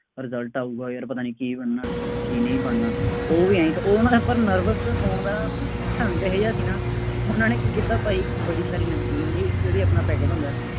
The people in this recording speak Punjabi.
result ਆਊਗਾ ਯਾਰ ਪਤਾ ਨਹੀਂ ਕੀ ਬਣਨਾ, ਕੀ ਨਹੀਂ ਬਣਨਾ, ਉਹ ਵੀ ਆਂਏਂ, ਉਹ ਨਾ hyper nervous ਹੋਣ ਦਾ ਢੰਗ ਇਹੋ ਜਿਹਾ ਸੀ ਨਾ ਉਹਨਾ ਨੇ ਕੀ ਕੀਤਾ ਭਾਈ ਇੱਕ ਵੱਡੀ ਸਾਰੀ ਨਮਕੀਨ ਲਈ, ਜਿਹੜਾ ਆਪਣਾ ਪੈਕਟ ਹੁੰਦਾ।